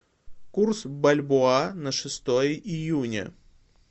курс бальбоа на шестое июня